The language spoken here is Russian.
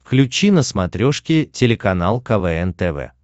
включи на смотрешке телеканал квн тв